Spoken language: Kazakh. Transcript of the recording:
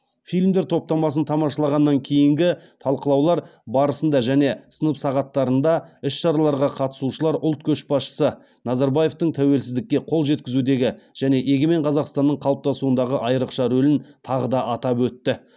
фильмдер топтамасын тамашалағаннан кейінгі талқылаулар барысында және сынып сағаттарында іс шараларға қатысушылар ұлт көшбасшысы назарбаевтың тәуелсіздікке қол жеткізудегі және егемен қазақстанның қалыптасуындағы айрықша рөлін тағы да атап өтті